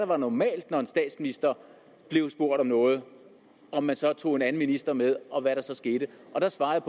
var normalt når en statsminister blev spurgt om noget om man så tog en anden minister med og hvad der så skete og der svarede